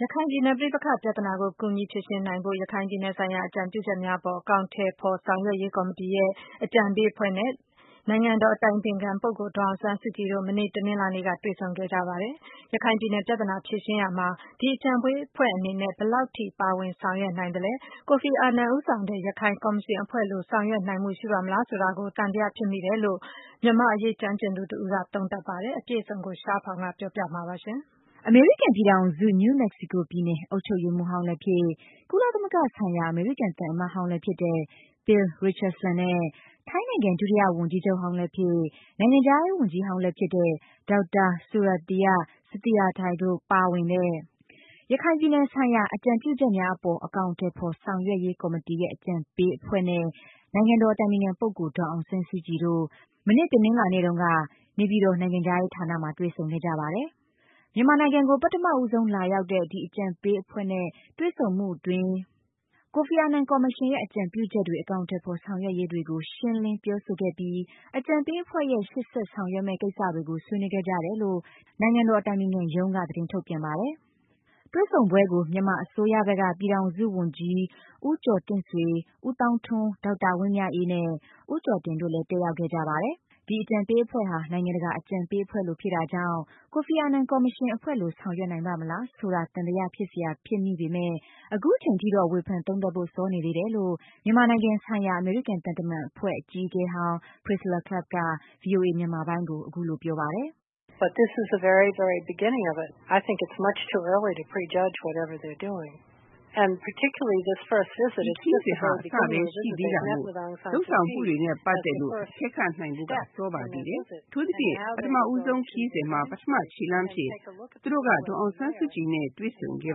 ရခိုင်ပြည်နယ် ပဋိပက္ခ ပြဿနာကို ကူညီဖြေရှင်းနိုင်ဖို့အတွက် ရခိုင်ပြည်နယ်ဆိုင်ရာ အကြံပြုချက်များအပေါ် အကောင်အထည်ဖော် ဆောင်ရွက်ရေးကော်မတီရဲ့ အကြံပေးအဖွဲ့နဲ့ နိုင်ငံတော် အတိုင်ပင်ခံပုဂ္ဂိုလ် ဒေါ်အောင်ဆန်းစုကြည်တို့ မနေ့ တနင်္လာနေ့က တွေ့ဆုံခဲ့ကြပါတယ်။ ရခိုင်ပြည်နယ် ပြဿနာ ဖြေရှင်းရာမှာ ဒီအကြံပေးအဖွဲ့အနေနဲ့ ဘယ်လောက်ထိ ပါဝင်ဆောင်ရွက်နိုင်သလဲ၊ ကိုဖီအာနန်ဦးဆောင်တဲ့ ရခိုင်ကော်မရှင်အဖွဲ့လို ဆောင်ရွက်နိုင်မှုရှိပါ့မလားဆိုတာကို သံသယဖြစ်မိတယ်လို့ မြန်မာအရေးကျွမ်းကျင်သူတဦးက သုံးသပ်လိုက်ပါတယ်။ အပြည့်အစုံကို ရှားဖောင် တင်ပြပေးပါမယ်။ အမေရိကန်ပြည်ထောင်စု New Mexico ပြည်နယ်အုပ်ချုပ်ရေးမှူးဟောင်းလည်းဖြစ် ကုလသမဂ္ဂဆိုင်ရာ အမေရိကန်သံအမတ်ဟောင်း လည်းဖြစ်တဲ့ Bill Richardson နဲ့ ထိုင်းနိုင်ငံ ဒုတိယဝန်ကြီးချုပ်ဟောင်းလည်းဖြစ် နိုင်ငံခြားရေးဝန်ကြီးဟောင်းလည်းဖြစ်တဲ့ ဒေါက်တာ Surakiart Sathirathai တို့ ပါဝင်တဲ့ ရခိုင်ပြည်နယ်ဆိုင်ရာ အကြံပြုချက်များအပေါ် အကောင်အထည်ဖော် ဆောင်ရွက်ရေး ကော်မတီရဲ့ အကြံပေးအဖွဲ့နဲ့ နိုင်ငံတော်အတိုင်ပင်ခံ ပုဂ္ဂိုလ် ဒေါ်အောင်ဆန်းစုကြည်တို့ တနင်္လာနေ့တုန်းက နေပြည်တော် နိုင်ငံခြားရေးဌာနမှာ တွေ့ဆုံခဲ့ကြပါတယ်။ မြန်မာနိုင်ငံကို ပထမဦးဆုံးလာရောက်တဲ့ ဒီအကြံပေးအဖွဲ့နဲ့ တွေ့ဆုံမှုအတွင်း ကိုဖီအာနန်ကော်မရှင်ရဲ့ အကြံပြုချက်တွေ အကောင်အထည်ဖော်ဆောင်ရွက်ရေးတွေကို ရှင်းလင်း ပြောဆိုခဲ့ပြီး အကြံပေးအဖွဲ့ရဲ့ ရှေ့ဆက်ဆောင်ရွက်မယ့်ကိစ္စတွေကို ဆွေးနွေးခဲ့ကြတယ်လို့ နိုင်ငံတော်အတိုင်ပင်ခံရုံးက သတင်းထုတ်ပြန်ပါတယ်။ တွေဆုံပွဲကို မြန်မာအစိုးရဘက်က ပြည်ထောင်စုဝန်ကြီး ဦးကျော်တင့်ဆွေ၊ဦးသောင်းထွန်း၊ ဒေါက်တာဝင်းမြတ်အေးနဲ့ ဦးကျော်တင်တို့လည်း တက်ရောက်ခဲ့ကြပါတယ်။ ဒီအကြံပေးအဖွဲ့ဟာ နိုင်ငံတကာ အကြံပေးအဖွဲ့လိုဖြစ်တာကြောင့် ကိုဖီအာနာနန် ကော်မရှင်အဖွဲ့လို ဆောင်ရွက်နိုင်မှုရှိပါ့မလား ဆိုတာ သံသယဖြစ်စရာဖြစ်မိပေမယ့် အခုချိန်မှာတော့ ဝေဖန်သုံးသပ်ဖို့ စောနေသေးတယ်လို့ မြန်မာနိုင်ငံဆိုင်ရာ အမေရိကန် သံတမန်အဖွဲ့အကြီးအကဲဟောင်း Priscilla Clapp က ဗွီအိုအေ မြန်မာပိုင်းကိုအခုလိုပြောပါတယ်။ “ ဒီခရီးစဉ်ဟာ အစပိုင်းပဲ ရှိသေးတာမို့ လုပ်ဆောင်မှုတွေနဲ့ ပတ်သက်လို့ အကဲခတ်နိုင်ဖို့က စောပါသေးတယ်။ အထူးသဖြင့် ပထမဦးဆုံးခရီးစဉ်မှာ ပထမခြေလှမ်းအဖြစ် သူတို့က ဒေါ်အောင်ဆန်းစုကြည်နဲ့ တွေ့ဆုံခဲ့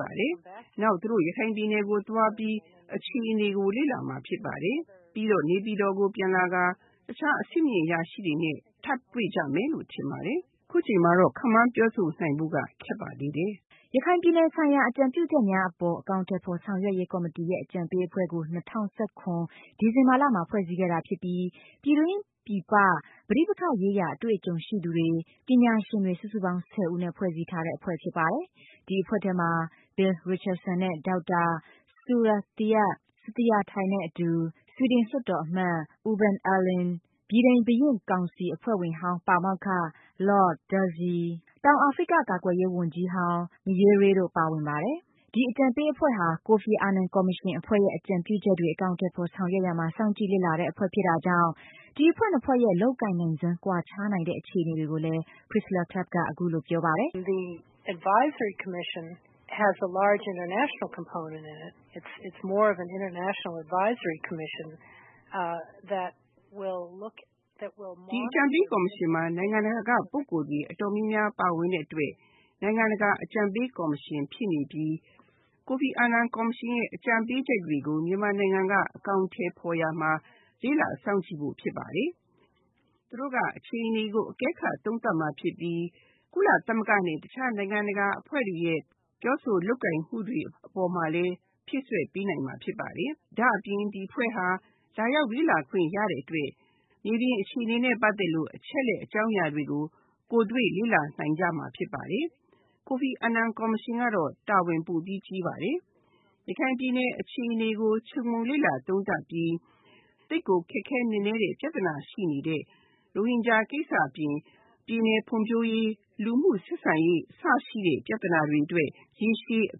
ပါတယ်။ နောက်သူတို့ ရခိုင်ပြည်နယ်ကိုသွားပြီး အခြေအနေကို လေ့လာမှာဖြစ်ပါတယ်။ ပြီးတော့ နေပြည်တော်ကိုပြန်လာပြီး တခြားအဆင့်မြင့်အရာရှိတွေ နဲ့ ထပ်တွေ့ကြမယ်လို့ ထင်ပါတယ်။ အခုအချိန်မှာ တော့ ပြောဖို့ ခက်ပါသေးတယ်။” ရခိုင်ပြည်နယ်ဆိုင်ရာ အကြံပြုချက်များအပေါ် အကောင်အထည်ဖော် ဆောင်ရွက်ရေးကော်မတီရဲ့ အကြံပေးအဖွဲ့ကို ၂၀၁၇ ဒီဇင်ဘာလမှာ ဖွဲ့စည်းခဲ့တာဖြစ်ပြီး ပြည်တွင်းပြည်ပက ပဋိပက္ခရေးရာ အတွေ့အကြုံရှိသူတွေ၊ ပညာရှင်တွေ စုစုပေါင်း ၁၀ ဦးနဲ့ဖွဲ့စည်းထားတဲ့အဖွဲ့ဖြစ်ပါတယ်။ ဒီအဖွဲ့ထဲမှာ Bill Richardson နဲ့ ဒေါက်တာ Surakiart Sathirathai နဲ့အတူ ဆွီဒင်လွှတ်တော်အမတ် Urban Ahlin၊ ဗြိတိန် ဘုရင့်ကောင်စီအဖွဲ့ဝင်ဟောင်း ပါမောက္ခ Lord Derzi၊ တောင်အာဖရိကကာကွယ်ရေးဝန်ကြီးဟောင်း Meyere တို့ ပါဝင်ပါတယ်။ ဒီအကြံပေးအဖွဲ့ဟာ ကိုဖီအာနန် ကော်မရှင်အဖွဲ့ရဲ့ အကြံပြုချက်တွေ အကောင်အထည်ဆောင်ရွက်ရာမှာ စောင့်ကြည့် လေ့လာရတဲ့အဖွဲ့ဖြစ်တာကြောင့် ဒီအဖွဲ့နှစ်ဖွဲ့ရဲ့ လုပ်ကိုင်နိုင်စွမ်း ကွာခြားနိုင်တဲ့ အခြေအနေကိုလည်း Priscilla Clapp က အခုလိုပြောပါတယ်။ “ဒီအကြံပေးကော်မရှင်မှာ နိုင်ငံတကာက ပုဂ္ဂိုလ်တွေ အတော်များများပါဝင်တဲ့အတွက် နိုင်ငံတကာအကြံပေးကော်မရှင်ဖြစ်နေပြီး ကိုဖီအာနန်ကော်မရှင်ရဲ့ အကြံပေးချက်တွေကို မြန်မာနိုင်ငံက အကောင်အထည်ဖော်ရာမှာ လေ့လာစောင့်ကြည့်ဖို့ ဖြစ်ပါတယ်။ သူတို့က အခြေအနေကို အကဲခတ်သုံးသပ်မှာဖြစ်ပြီး ကုလသမဂ္ဂ နဲ့ တခြားနိုင်ငံတကာအဖွဲ့တွေရဲ့ ပြောဆိုလုပ်ကိုင်မှု တွေအပေါ်မှာလည်း ဖြည့်စွက်ပေးနိုင်မှာဖြစ်ပါတယ်။ ဒါ့အပြင် ဒီအဖွဲ့ဟာ လာရောက်လေ့လာခွင့်ရတဲ့အတွက် မြေပြင်အခြေအနေနဲ့ ပတ်သက်လို့ အချက်အလက်အကြောင်းအရာတွေကို ကိုယ်တွေ့လေ့လာ နိုင်ကြမှာဖြစ်ပါတယ်။ ကိုဖီအာနန်ကော်မရှင်ကတော့ တာဝန်ပိုပြီး ကြီးပါတယ်။ ရခိုင်ပြည်နယ် အခြေအနေကို ခြုံငုံလေ့လာသုံးသပ်ပြီး သိပ်ကို ခက်ခဲနက်နဲတဲ့ ပြဿနာ ရှိနေတဲ့ ရိုဟင်ဂျာ ကိစ္စအပြင် ပြည်နယ်ဖွံ့ဖြိုးရေး လူမှုဆက်ဆံရေး အစရှိတဲ့ ပြဿနာတွေအတွက် ရေရှည်အ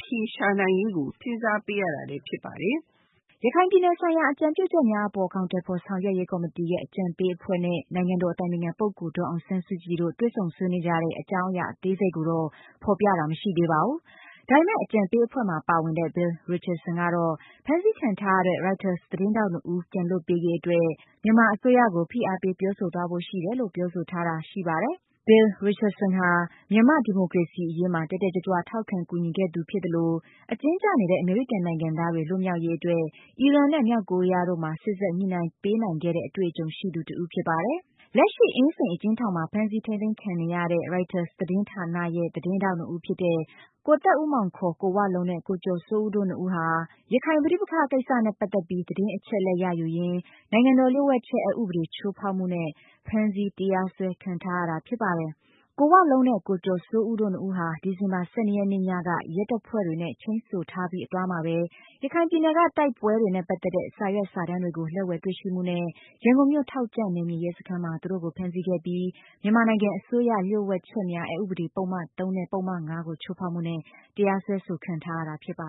ဖြေရှာနိုင်ရေးကို စဉ်းစားပေးရတာလည်း ဖြစ်ပါတယ်။” ရခိုင်ပြည်နယ်ဆိုင်ရာ အကြံပြုချက်များအပေါ် အကောင်အထည်ဖော် ဆောင်ရွက်ရေးကော်မတီရဲ့ အကြံပေးအဖွဲ့နဲ့ နိုင်ငံတော် အတိုင်ပင်ခံပုဂ္ဂိုလ် ဒေါ်အောင်ဆန်းစုကြည်တို့ တွေ့ဆုံဆွေးနွေးကြတဲ့ အကြောင်းအရာအသေးစိတ်ကိုတော့ ဖော်ပြတာ မရှိသေး ဘာဘူး။ ဒါပေမယ့် အကြံပေးအဖွဲ့မှာပါဝင်တဲ့ Bill Richardson ကတော့ ဖမ်းဆီးခံထားရတဲ့ Reuters သတင်းထောက်နှစ်ဦး ပြန်လွှတ်ပေးရေးအတွက် မြန်မာအစိုးရကို ဖိအားပေးပြောဆိုသွားဖို့ရှိတယ်လို့ ပြောဆိုထားခဲ့တာရှိပါတယ်။ Bill Richardson ဟာ မြန်မာ့ဒီမိုကရေစီရေးမှာ တက်တက်ကြွကြွ ထောက်ခံကူညီခဲ့သူဖြစ်သလို၊ အကျဉ်းကျနေတဲ့ အမေရိကန်နိုင်ငံသားတွေ လွှတ်မြောက်ရေးအတွက် အီရတ်နဲ့မြောက်ကိုရီးယားတို့မှာ စေ့စပ်ညှိနှိုင်းရေးပေးနိုင်ခဲ့တဲ့ အတွေ့အကြုံရှိသူ တဦးဖြစ်ပါတယ်။ လက်ရှိ အင်းစိန်အကျဉ်းထောင်ထဲမှာ ဖမ်းဆီးထိန်းသိမ်းခံနေရတဲ့ ရိုက်တာ သတင်းဌာနရဲ့ သတင်းထောက်နှစ်ဦးဖြစ်တဲ့ ကိုသက်ဦးမောင် ကိုဝလုံးနဲ့ ကိုကျော်စိုးဦးတို့နှစ်ဦးဟာ ရခိုင်ပဋိပက္ခကိစ္စနဲ့ပတ်သက်ပြီး သတင်းချက်အလက်ရယူရင်း နိုင်ငံတော်လျှို့ဝှက်ချက် အက်ဥပဒေ ချိုးဖောက်မှုနဲ့ ဖမ်းဆီးတရားစွဲခံထားရတာပါ။ ကိုဝလုံးနဲ့ ကိုကျော်စိုးဦးတို့နှစ်ဦးဟာ ဒီဇင်ဘာလ ၁၂ ရက်နေ့ညက ရဲတပ်ဖွဲ့တွေနဲ့ ချိန်းဆိုထားပြီး အသွားမှာပဲ ရခိုင်ပြည်နယ်က တိုက်ပွဲတွေနဲ့ ပတ်သက်တဲ့ စာရွက်စာတမ်းတွေကို လက်ဝယ်တွေ့ရှိမှုနဲ့ ရန်ကုန်မြို့ ထောက်ကြန့် နယ်မြေရဲစခန်းမှာ သူတို့ကို ဖမ်းဆီးခဲ့ပြီး၊ မြန်မာနိုင်ငံအစိုးရလျှို့ဝှက်ချက်များအက်ဥပဒေ ပုဒ်မ ၃နဲ့ ပုဒ်မ ၅ ကို ချိုးဖောက်မှုနဲ့ တရားစွဲဆိုခံရတာဖြစ်ပါ